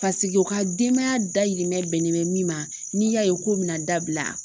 Paseke u ka denbaya dahirimɛ bɛnnen mɛ min ma n'i y'a ye k'o bɛna dabila